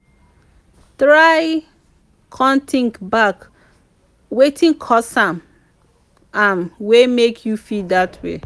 try con tink back wetin cause am am wey mek yu feel dat way